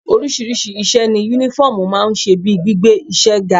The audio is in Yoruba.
Oríṣiríṣi iṣẹ́ ni Únífọ́ọ̀mù máa ń ṣe bíi gbígbé iṣẹ́ ga